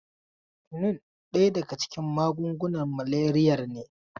Kyunin daya daga cikin magungunan maleriyar ne.